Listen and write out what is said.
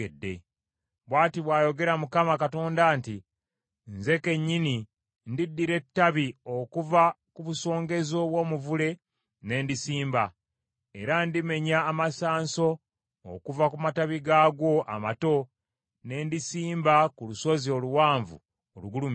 “ ‘Bw’ati bw’ayogera Mukama Katonda nti, Nze kennyini ndiddira ettabi okuva ku busongezo bw’omuvule ne ndisimba; era ndimenya amasanso okuva ku matabi gaagwo amato ne ndisimba ku lusozi oluwanvu olugulumivu.